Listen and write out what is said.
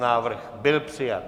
Návrh byl přijat.